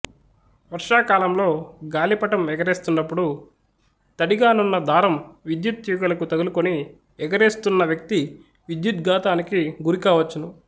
వర్షాకాలంలో గాలిపటం ఎగరేస్తున్నప్పుడు తడిగానున్న దారం విద్యుత్ తీగలకు తగులుకొని ఎగరేస్తున్న వ్యక్తి విద్యుద్ఘాతానికి గురికావచ్చును